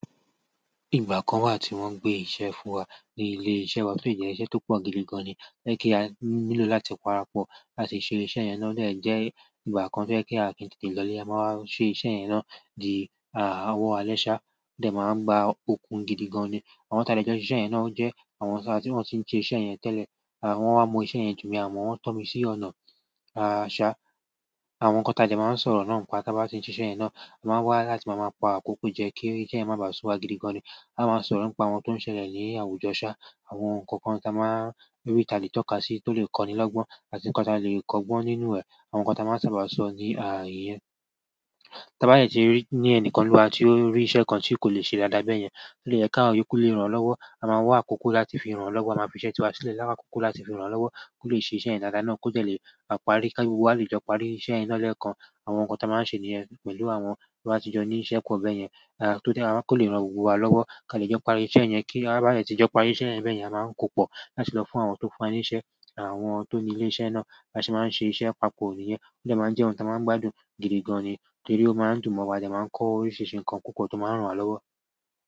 Ìgbà kan wà tí wọ́n ń gbé iṣẹ́ fún wa ní ilé iṣẹ́ wa, tó de jẹ́ iṣẹ́ tó pọ̀ gidigan ni. To je pe a nílò láti parapọ̀ láti ṣe iṣẹ́ yẹn náà ọ̀ de jẹ́ ìgbà kan tó jẹ́ pe. A o kin tètè lọlé. A máa ṣe iṣẹ́ yẹn náà di owọ̀ àlẹ́ sà, o dẹ̀ máa gbá okun gidigan ni. Àwọn ti à de jọ n ṣe iṣe iṣẹ́ yẹn náà o jẹ́ àwọn tí wọ́n ti ń ṣe iṣẹ́ yẹn tẹ́lẹ̀. Wọ́n wa mo iṣẹ́ yẹn jù mi, àmo won tọ́ mi sí ọ̀nà ṣà. Àwọn nǹkan tí a de máa ń sọ̀rọ̀ náà ń pa tí a bá ti ń ṣe iṣẹ́ yẹn náà, a máa wá láti máa pa àkókò jẹ kí iṣẹ́ yẹn má ba à sú wa gidigan ni. A máa ń sọ̀rọ̀ nípa àwọn tó ń ṣẹlẹ̀ ní àwùjọ ṣá, àwọn nǹkan kan tí a máa rí tà le tọ̀ ká sí tó lè kọ́ni lọ́gbọ́n àti nǹkan tí a lè kọ́gbọ́n nínú ẹ̀, àwọn nǹkan tí a máa sábà sọ níyẹn. Tí a bá dẹ ti rí ní ẹni kan nínú wa tí ó rí iṣẹ́ kan tí kò lè ṣe dáadáa bẹ́ẹ̀ yẹn, ó lè jẹ́ ká wa iyokú lè ràn lọ́wọ́. A máa wá àkókò láti fi ràn lọ́wọ́, a máa fi iṣẹ́ tí wá sílẹ̀ láwá àkókò láti fi ràn lọ́wọ́ kó lè ṣe iṣẹ́ yẹn dáadáa náà kó dẹ̀ lè parí, kí gbogbo wa lè jọ parí iṣẹ́ yen náà lẹ́ẹ̀kan. Àwọn nkan ti a maa n se niyen pẹ̀lú àwọn ti a ba ti jo ni iṣẹ́ po bayen, torí ko le ran gbogbo wa lowo, ka le jo parí iṣẹ́ yen, ti a ba de ti jo parí iṣẹ́ yen beyen a maa n ko po láti lọ fún àwọn tó fún wa ní iṣẹ́ àwọn tó ní ilé iṣẹ́ náà. Bi a se máa ń ṣe iṣẹ́ papọ̀ nìyẹn. Ó dẹ́ máa jẹ́ ohun tí a máa ń gbádùn gidigan ni torí ó máa ń dùn mọ́ wa, a dẹ máa ń kọ́ oríṣiríṣi nǹkan púpọ̀ tó máa ń ràn wa lọ́wọ́.